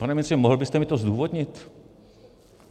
Pane ministře, mohl byste mi to zdůvodnit?